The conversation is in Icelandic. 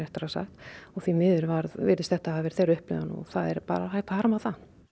og því miður virðist þetta hafa verið þeirra upplifun og það er bara hægt að harma það